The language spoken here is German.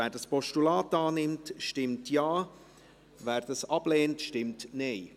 Wer dieses Postulat annimmt, stimmt Ja, wer dies ablehnt, stimmt Nein.